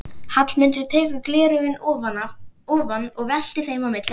Hallmundur tekur gleraugun ofan og veltir þeim á milli handanna.